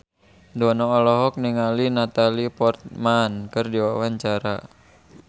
Dono olohok ningali Natalie Portman keur diwawancara